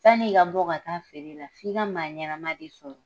Sann'i ka bɔ ka taa feere la, f'i ka maa ɲɛnama de sɔrɔ.